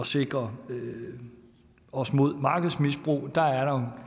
sikre os mod markedsmisbrug der er